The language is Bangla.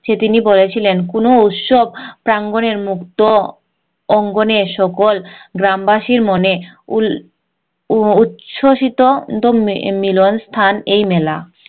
যে তিনি বলেছিলেন কোনো উৎসব প্রাঙ্গনের মুক্ত অঙ্গনে সকল গ্রাম বাসীর মনে উল উচ্চসিত মিলন স্থান এই মেলা